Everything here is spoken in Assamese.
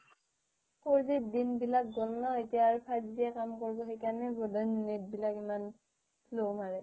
fourG দিনবিলাক গল ন এতিয়া আৰু fiveG কাম কৰিব সেইকাৰনে বোধহয় net বিলাক ইমান slow মাৰে